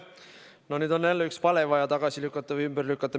No nüüd on jälle üks vale vaja ümber lükata.